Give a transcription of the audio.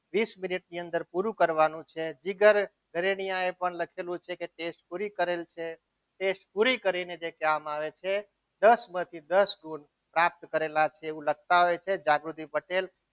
કરવાનું છે જીગર પણ લખેલું છે કે test પૂરી કરેલ છે test પૂરી કરીને જે કહેવામાં આવે છે દસમાંથી દસ ગુણ પ્રાપ્ત કરેલા છે એવું લખતા હોય છે જાગૃતિ પટેલ